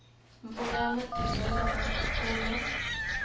mpfula ya matimba yi vanga nkhukhulo